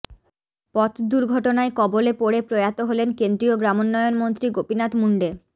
পথ দুর্ঘটনায় কবলে পড়ে প্রয়াত হলেন কেন্দ্রীয় গ্রামোন্নয়ন মন্ত্রী গোপীনাথ মুন্ডে